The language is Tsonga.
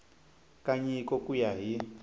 ka nyiko ku ya hi